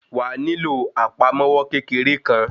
Wàá nílò àpamọ́wọ́ kékeré kan.